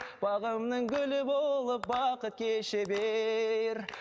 бағымның гүлі болып бақыт кеше бер